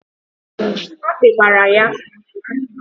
Akpị gbara ya.